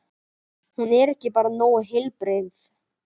Hún er bara ekki nógu heilbrigð.